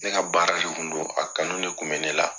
Ne ka baara de kun don a kanu de kun bɛ ne la.